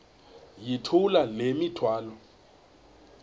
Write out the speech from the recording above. yithula le mithwalo